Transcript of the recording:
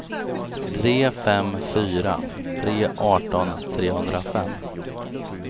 tre fem fyra tre arton trehundrafem